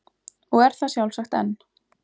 Og er það sjálfsagt enn.